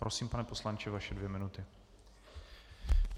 Prosím, pane poslanče, vaše dvě minuty.